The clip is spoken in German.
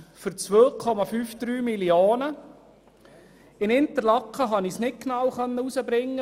Für den Standort Interlaken konnte ich dies nicht genau herausfinden.